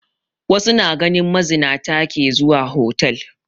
Wasu na ganin mazinata ke zuwa hotal